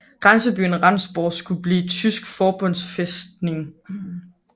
Grænsebyen Rendsborg skulle blive tysk forbundsfæstning